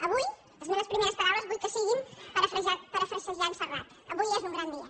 avui les meves primeres paraules vull que siguin parafrasejant serrat avui és un gran dia